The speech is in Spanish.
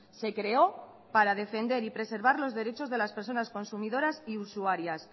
se creó para defender y preservar los derechos de las personas consumidoras y usuarias